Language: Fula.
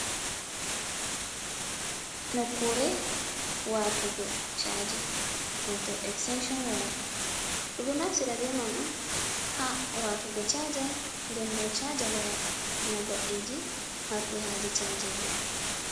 Nokkure, watugo caji wato estenshon waya. ɗum ɗo naftira be man on ha watugo caja ndembo caja waya ina goɗɗiji marɗi haje cajego.